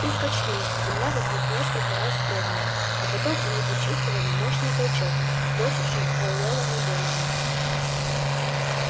их качнуло земля вокруг несколько раз вздрогнула а потом они почувствовали мощный толчок бросивший пауэлла на донована